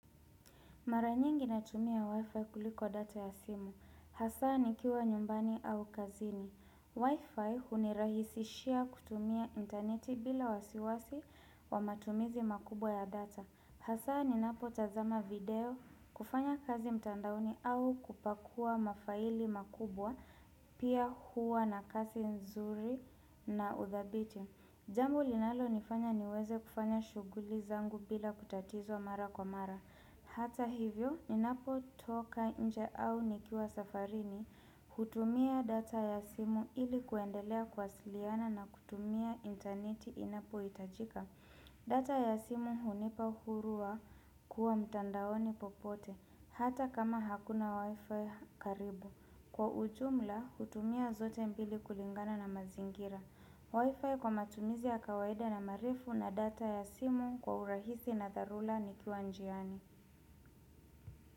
Maranyingi natumia wifi kuliko data ya simu. Hasaa nikiwa nyumbani au kazini. Wifi hunirahisishia kutumia interneti bila wasiwasi wa matumizi makubwa ya data. Hasaa ninapo tazama video kufanya kazi mtandaoni au kupakua mafaili makubwa pia huwa na kazi nzuri na uthabiti. Jambo linalonifanya niweze kufanya shughuli zangu bila kutatizo mara kwa mara. Hata hivyo, ninapotoka nje au nikiwa safarini, hutumia data ya simu ili kuendelea kuwasiliana na kutumia interneti inapohitajika. Data ya simu hunipa uhuru wa kuwa mtandaoni popote, hata kama hakuna wifi karibu. Kwa ujumla, hutumia zote mpili kulingana na mazingira. Wifi kwa matumizi ya kawaida na maeifu na data ya simu kwa urahisi na dharura nikiwa njiani.